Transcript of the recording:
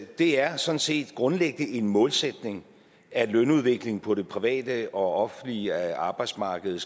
det er sådan set grundlæggende en målsætning at lønudviklingen på det private og det offentlige arbejdsmarked